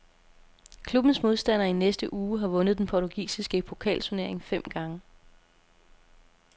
Klubbens modstander i næste uge har vundet den portugisiske pokalturnering fem gange.